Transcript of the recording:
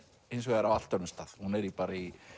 hins vegar á allt öðrum stað hún er bara í